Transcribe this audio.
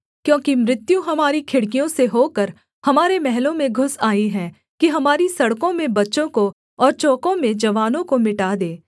क्योंकि मृत्यु हमारी खिड़कियों से होकर हमारे महलों में घुस आई है कि हमारी सड़कों में बच्चों को और चौकों में जवानों को मिटा दे